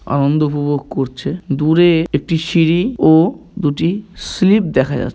আনন্দ উপভোগ করছে। দূরে একটি সিঁড়ি ও দুটি স্লিপ দেখা যাচ--